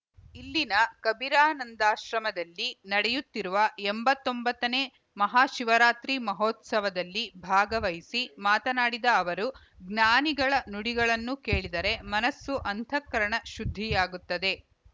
ಇಲ್ಲಿನ ಕಬೀರಾನಂದಾಶ್ರಮದಲ್ಲಿ ನಡೆಯುತ್ತಿರುವ ಎಂಬತ್ತೊಂಬತ್ತನೇ ಮಹಾಶಿವರಾತ್ರಿ ಮಹೋತ್ಸವದಲ್ಲಿ ಭಾಗವಹಿಸಿ ಮಾತನಾಡಿದ ಅವರು ಜ್ಞಾನಿಗಳ ನುಡಿಗಳನ್ನು ಕೇಳಿದರೆ ಮನಸ್ಸು ಅಂತಃಕರಣ ಶುದ್ಧಿಯಾಗುತ್ತದೆ